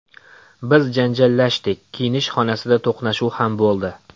Biz janjallashdik, kiyinish xonasida to‘qnashuv ham bo‘ldi.